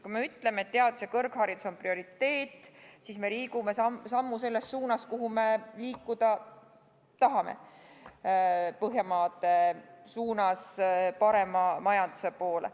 Kui me ütleme, et teadus ja kõrgharidus on prioriteet, siis me liigume sammu selles suunas, kuhu me liikuda tahame – Põhjamaade poole, parema majanduse poole.